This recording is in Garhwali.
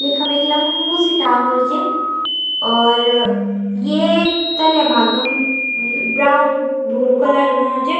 यखम एक लम्बू सी टावर च और ये तल्या भाग म ब्राउन भुरु कलर हुयुं च।